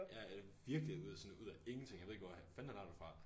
Ja det virkelig ud af sådan ud af ingenting jeg ved ikke hvor fanden han har det fra